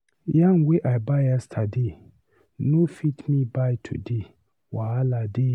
Yam wey I buy yesterday, no fit me buy today. Wahala dey!